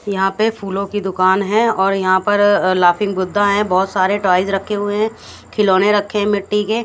यहां पे फूलों की दुकान है और यहां पर लाफिंग बुद्धा है बहोत सारे टॉयज रखे हुए हैं खिलौने रखें मिट्टी के--